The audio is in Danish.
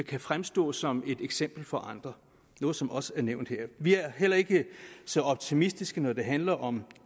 kan fremstå som et eksempel for andre noget som også er nævnt her vi er heller ikke så optimistiske når det handler om